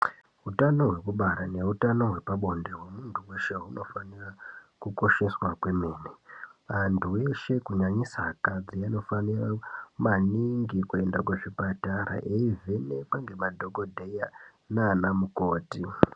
Utano hwekubara nehutano hwepabonde hwemunhu weshe hunofanire kukosheswa kwemene anhu eshe kunyanyisa akadzi anofanire maningi kuende kuzvipatara eivhenekwa ngemadhokodheya nanamukoti.